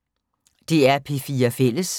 DR P4 Fælles